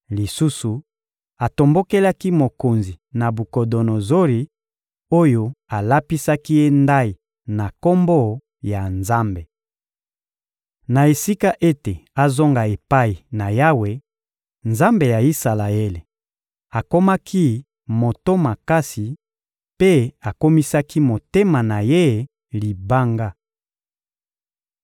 Lisusu, atombokelaki mokonzi Nabukodonozori oyo alapisaki ye ndayi na Kombo ya Nzambe. Na esika ete azonga epai na Yawe, Nzambe ya Isalaele, akomaki moto makasi mpe akomisaki motema na ye libanga.